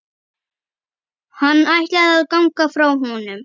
Hann ætlaði að ganga frá honum.